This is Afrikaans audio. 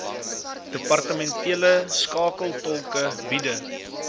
departementele skakeltolke bide